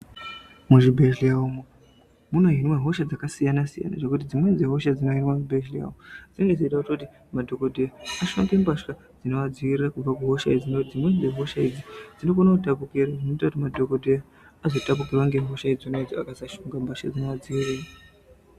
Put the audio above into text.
Muzvibhedhlera umo muno hinwe hosha dzakasiyana siyana zvekuti dzimweni dzehosha dzinohinwa muzvibhedhlera dzinenge dzeida kuti madhokodheya ashambe mbasha dzinodzivirira kubva kuhosha idzi nekuti dzimweni dzehosha idzi dzinokone kutapukire zvinoite kuti madhokodheya azotapukirwa ngehosha idzona idzo akasashonga mbasha dzinoadziirira.